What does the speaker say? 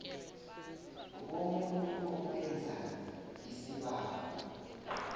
bomuntu owenza isibawo